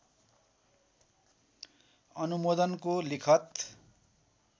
अनुमोदनको लिखत